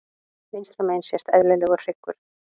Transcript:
Vinstra megin sést eðlilegur hryggur.